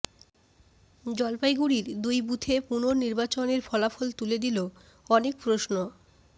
জলপাইগুড়ির দুই বুথে পুননির্বাচনের ফলাফল তুলে দিল অনেক প্রশ্ন